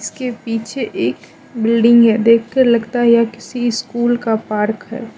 इसके पीछे एक बिल्डिंग है देखकर लगता यह किसी स्कूल का पार्क है।